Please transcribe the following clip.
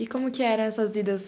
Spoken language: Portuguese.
E como que eram essas idas?